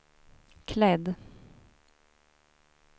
klädd